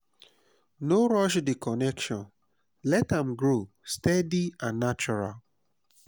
no rush the connection let am grow steady and natural